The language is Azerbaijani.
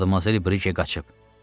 Madmazel Brije qaçıb.